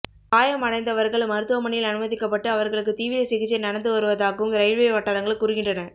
காயம் அடைந்தவர்கள் மருத்துவமனையில் அனுமதிக்கப்பட்டு அவர்களுக்கு தீவிர சிகிச்சை நடந்து வருவதாகவும் ரயில்வே வட்டாரங்கள் கூறுகின்றன